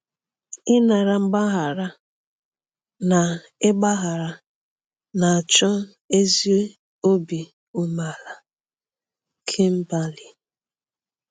Ịnara mgbaghara na ịgbaghara na-achọ ezi obi umeala.” – Kimberly.